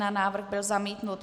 Návrh byl zamítnut.